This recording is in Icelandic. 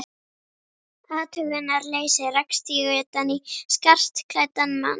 athugunarleysi rakst ég utan í skartklæddan mann.